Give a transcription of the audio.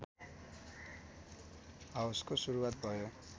हाउसको सुरुवात भयो